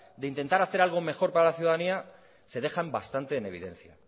de intentar hacer algo mejor para la ciudadanía se dejan bastante en evidencia